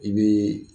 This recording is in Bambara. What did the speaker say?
I bɛ